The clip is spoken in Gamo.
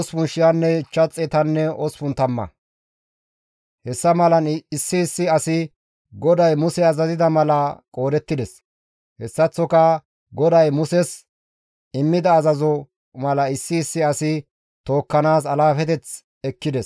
Hessa malan issi issi asi GODAY Muse azazida mala qoodettides; hessaththoka GODAY Muses immida azazo mala issi issi asi tookkanaas alaafeteth ekkides.